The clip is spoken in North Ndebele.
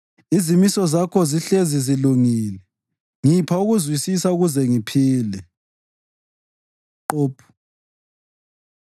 Izimiso zakho zihlezi zilungile; ngipha ukuzwisisa ukuze ngiphile. ק Qoph